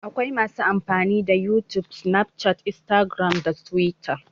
Akwai masu amfani da youtube, snapchat, instagram da twitter